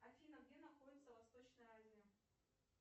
афина где находится восточная азия